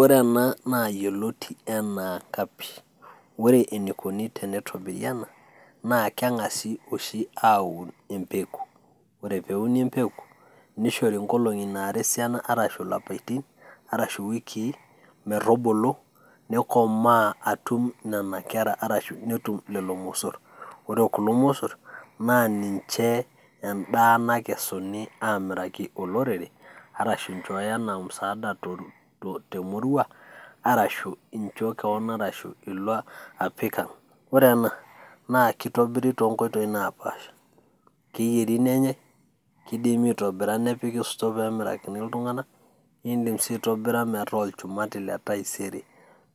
Ore ena naa yioloti enaa kapshi. Ore enikoni tenitobiri ena, naa keng'asi oshi aun empeku. Ore peuni empeku, nishori nkolong'i nara esiana arashu lapaitin, arashu wikii, metubulu, nikomaa atum nena kera arashu netum lelo mosor. Ore kulo mosor, naa ninche endaa nakesuni amiraki olorere, arashu inchooyo enaa musaada temurua, arashu incho keon, arashu ilo apik ang'. Ore ena, na kitobiri tonkoitoii napaasha. Keeri nenyai, kidimi itobira nepiki store pemirakini iltung'anak, idim si aitobira metaa olchumati letaisere